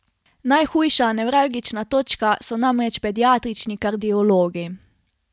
Najhujša nevralgična točka so namreč pediatrični kardiologi.